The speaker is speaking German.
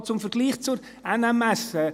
Noch zum Vergleich mit der NMS: